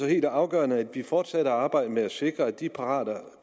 helt afgørende at vi fortsætter arbejdet med at sikre at de pirater